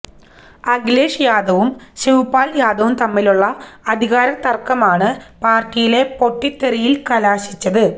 അഖിലേഷ് യാദവും ശിവ്പാല് യാദവും തമ്മിലുള്ള അധികാരത്തര്ക്കമാണ് പാര്ട്ടിയിലെ പൊട്ടിത്തെറിയില് കലാശിച്ചത്